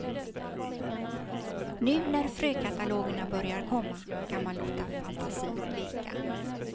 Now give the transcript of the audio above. Nu när frökatalogerna börjar komma kan man låta fantasin leka.